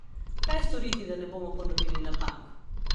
Kaj storiti, da ne bomo ponovili napak?